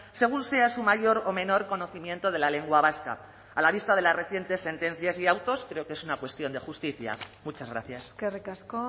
según sea su mayor o menor conocimiento de la lengua vasca a la vista de las recientes sentencias y autos creo que es una cuestión de justicia muchas gracias eskerrik asko